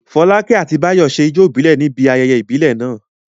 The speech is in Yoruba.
Fọlákẹ́ àti Báyọ̀ ṣe ijó ìbílẹ̀ Yorùbá níbi ayẹyẹ ìbílẹ̀ náà.